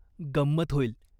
गंमत होईल.